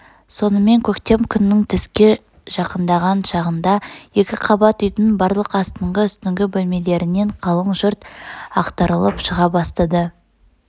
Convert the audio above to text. сонымен көктем күннің түске жақындаған шағында екі қабат үйдің барлық астыңғы үстіңгі бөлмелерінен қалың жұрт ақтарылып шыға бастады